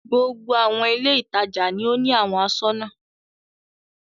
Gbogbo àwọn ilé-ìtajà ni ó ní àwọn aṣọ́nà.